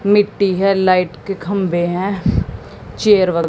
मिट्टी हैं लाइट के खंबे हैं चेयर व--